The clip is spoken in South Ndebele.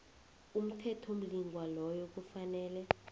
umthethomlingwa loyo kufanele